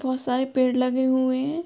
बोहोत सारे पेड़ लगे हुए हैं।